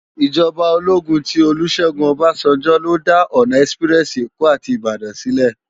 Ijòbá ólógún ti Olusegun Obasanjo ló dá òná èsipirèsi Ékó áti Ibadan silè